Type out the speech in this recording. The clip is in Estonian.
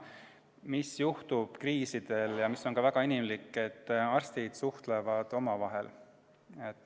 Mis juhtub kriiside ajal ja mis on ka väga inimlik, on see, et arstid suhtlevad omavahel.